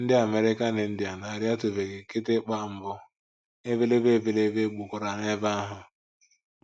Ndị American Indian arịatụbeghị kịtịkpa mbụ, ebelebe ebelebe gbukwara n’ebe ahụ.